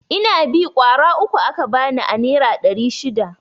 Inabi ƙwara uku aka bani a nera ɗari shida.